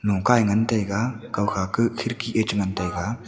longka ya ngan taiga koh kha ki khekey ya cha ngan taiga.